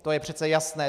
To je přece jasné.